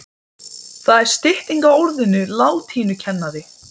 Minntist hann á, hvaða fyrirtæki þetta væru? spurði Friðrik loks.